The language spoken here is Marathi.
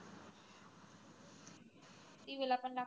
TV पन लागते.